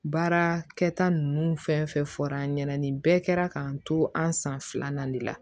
Baara kɛta nunnu fɛn fɛn fɔra an ɲɛna nin bɛɛ kɛra k'an to an san filanan de la